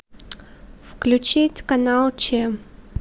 включить канал ч